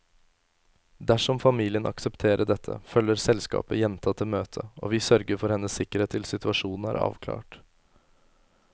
Dersom familien aksepterer dette, følger selskapet jenta til møtet, og vi sørger for hennes sikkerhet til situasjonen er avklart.